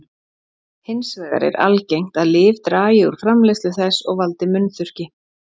Hins vegar er algengt að lyf dragi úr framleiðslu þess og valdi munnþurrki.